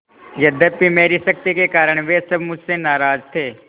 यद्यपि मेरी सख्ती के कारण वे सब मुझसे नाराज थे